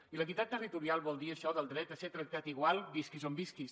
i l’equitat territorial vol dir això del dret a ser tractat igual visquis on visquis